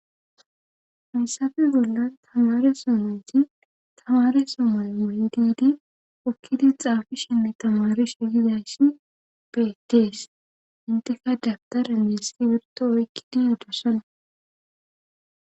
Hayssappe bolla tamare so nati tamare so may moy didi hokkidi xaafishenne tamarishegidayshin bedees inteka dabtare meesi wirto oykki di dosana.